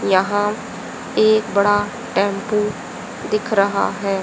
यहां एक बड़ा टेंपु दिख रहा है।